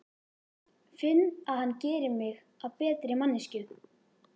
Finn að hann gerir mig að betri manneskju.